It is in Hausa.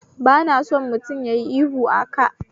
Bana son mutum yayi ihu aka